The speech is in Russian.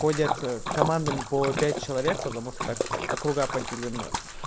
ходят командами по пять человек потому что так округа поделены